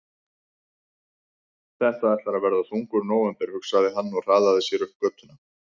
Þetta ætlar að verða þungur nóvember, hugsaði hann og hraðaði sér upp götuna.